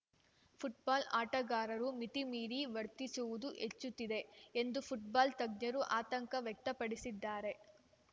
football ಆಟಗಾರರು ಮಿತಿ ಮೀರಿ ವರ್ತಿಸುವುದು ಹೆಚ್ಚುತ್ತಿದೆ ಎಂದು ಫುಟ್ಬಾಲ್‌ ತಜ್ಞರು ಆತಂಕ ವ್ಯಕ್ತಪಡಿಸಿದ್ದಾರೆ